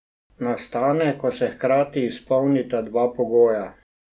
Nastane, ko se hkrati izpolnita dva pogoja.